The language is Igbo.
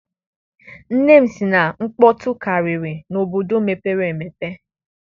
Nne m sị na nkpọtụ karịrị n'obodo mepere emepe.